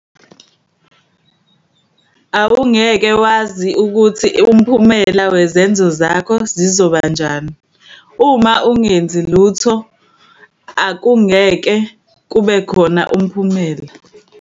Awungeke wazi ukuthi umphumelo wezenzo zakho zizobanjani. Uma ungenzi lutho akungeke kubekhona umphumelo.